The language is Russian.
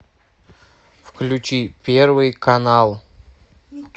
включи первый канал